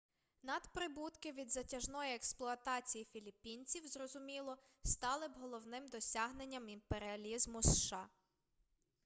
надприбутки від затяжної експлуатації філіппінців зрозуміло стали б головним досягненням імперіалізму сша